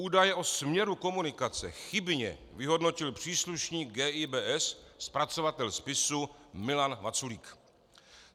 Údaje o směru komunikace chybně vyhodnotil příslušník GIBS - zpracovatel spisu - Milan Vaculík.